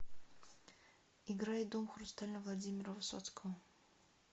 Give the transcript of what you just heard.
играй дом хрустальный владимира высоцкого